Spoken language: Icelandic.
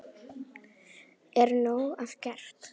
Er nóg að gert?